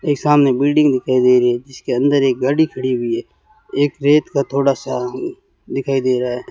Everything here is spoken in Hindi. एक सामने बिल्डिंग दिखाई दे रही है जिसके अंदर एक गाड़ी खड़ी हुई है एक रेत का थोड़ा सा दिखाई दे रहा है।